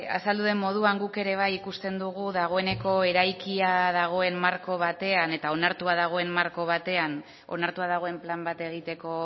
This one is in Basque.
azaldu den moduan guk ere bai ikusten dugu dagoeneko eraikia dagoen marko batean eta onartua dagoen marko batean onartua dagoen plan bat egiteko